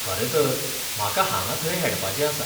खरेंतर, म्हाका हांगा थंय हेडपाचें आसा.